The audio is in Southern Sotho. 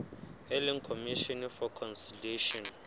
e leng commission for conciliation